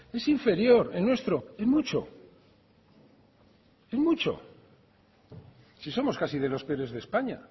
es inferior el nuestro en mucho en mucho si somos casi de los peores de españa